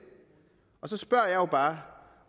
og så spørger jeg jo bare